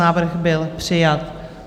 Návrh byl přijat.